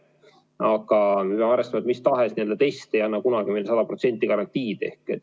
Aga me peame arvestama, et mis tahes test ei anna kunagi sada protsenti garantiid.